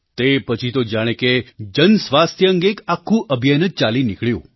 તે પછી તો જાણે કે જન સ્વાસ્થ્ય અંગે એક આખું અભિયાન જ ચાલી નીકળ્યું